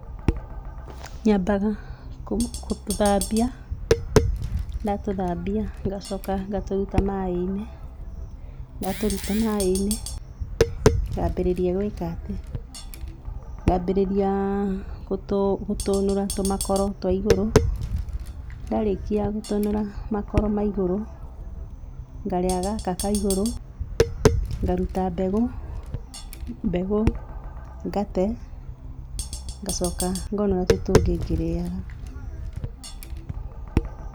Nyambaga gũtũ, gũtũthambia, ndatũthambia ngacoka ngatũruta maaĩ-inĩ, ndatũruta maaĩ-inĩ, ngambĩrĩria gwĩka atĩ, ngambĩrĩria gũtũ, gũtũnũra tũmakaoro twa igũrũ, ndarĩkia gũtũnũra makoro ma igũrũ ngarĩa gaka ka igũrũ, ngaruta mbegũ, mbegũ ngate, ngacoka ngonũra tũu tũngĩ ngĩrĩaga.